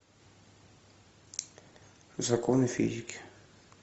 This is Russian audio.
законы физики